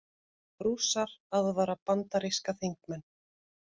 Rússar aðvara bandaríska þingmenn